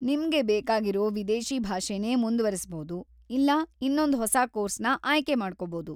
ನಿಮ್ಗೆ ಬೇಕಾಗಿರೋ ವಿದೇಶಿ ಭಾಷೆನೇ ಮುಂದ್ವರಿಸ್‌ಬೌದು ಇಲ್ಲಾ ಇನ್ನೊಂದ್‌ ಹೊಸ ಕೋರ್ಸ್‌ನ ಆಯ್ಕೆ ಮಾಡ್ಕೊಬೋದು.